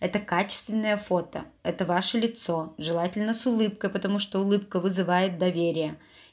это качественное фото это ваше лицо желательно с улыбкой потому что улыбка вызывает доверие